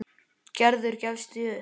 Gerður gefst því upp.